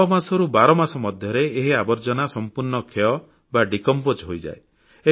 ଛଅମାସରୁ 12 ମାସ ମଧ୍ୟରେ ଏହି ଆବର୍ଜ୍ଜନା ସମ୍ପୂର୍ଣ୍ଣ ବିଘଟିତ ଡିକମ୍ପୋଜ ହୋଇଯାଏ